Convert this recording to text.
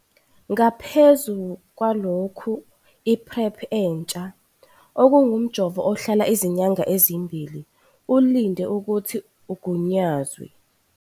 Ngaphezu kwalokhu, i-PrEP entsha - okungumjovo ohlala izinyanga ezimbili - ulinde ukuthi ugunyazwe.